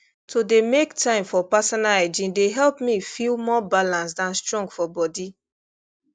to dey make time for personal hygiene dey help me feel more balanced and strong for body